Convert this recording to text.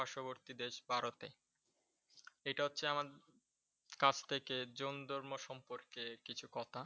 পার্শ্ববর্তী দেশ ভারতে। এটা হচ্ছে আমার কাছ থেকে জৈন ধর্ম সম্পর্কে কিছু কথা।